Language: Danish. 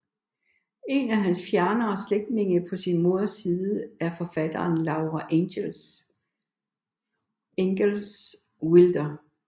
En af hans fjernere slægtninge på sin moders side er forfatteren Laura Ingalls Wilder